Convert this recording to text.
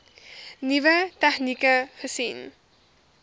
nuwe tegnieke gesien